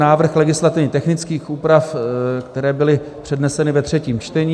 Návrh legislativně technických úprav, které byly předneseny ve třetím čtení.